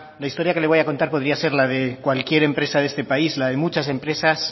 la historia que le voy a contar podría ser la de cualquier empresa de este país la de muchas empresas